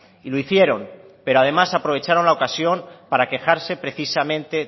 y lo hicieron pero además aprovecharon la ocasión para quejarse precisamente